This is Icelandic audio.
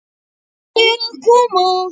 Matti er að koma!